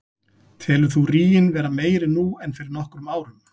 Telur þú ríginn vera meiri nú en fyrir nokkrum árum?